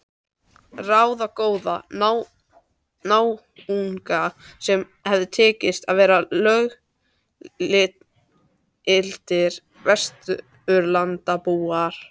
Ráðagóða náunga sem hafði tekist að verða löggiltir Vesturlandabúar.